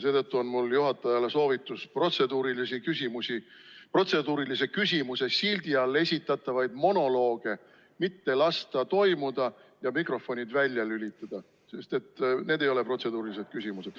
Seetõttu on mul juhatajale soovitus protseduurilise küsimuse sildi all esitatavaid monolooge mitte lasta toimuda ja mikrofonid välja lülitada, sest need ei ole protseduurilised küsimused.